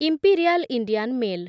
imperial Indian mail